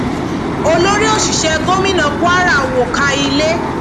olórí òṣìṣẹ gómìnà kwara wọ káà ilé